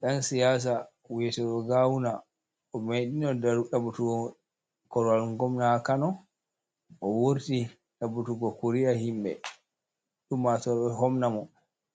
Dan siyasa wiyete ɗo gawuna o meɗino darugo ɗabbutugo korwal gomna kano, o wurti dabbutugo kuriya himɓɓe ummator ɗo homna mo